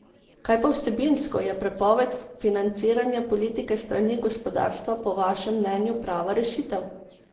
Kaj pa vsebinsko, je prepoved financiranja politike s strani gospodarstva po vašem mnenju prava rešitev?